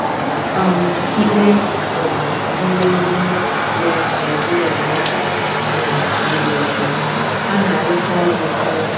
um Ikpe um ziri ezi ya na ebere ya um zuru oke, ha na-arụkọ ọrụ n’otu.